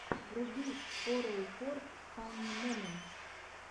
вруби фороуфор фанни моментс